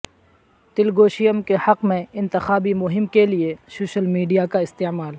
تلگودیشم کے حق میں انتخابی مہم کیلئے سوشیل میڈیا کا استعمال